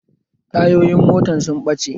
Tayoyin motan sun ɓace